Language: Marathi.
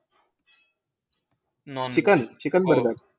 Nonveg, chicken, chicken?